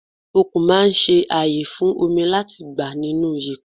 Okùn máa ń ṣe ààyè fún omi láti gbà nínú yèpẹ̀.